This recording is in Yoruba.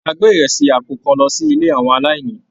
A gbé ìrẹsì àpò kan lọ sí ilé àwọn aláìní.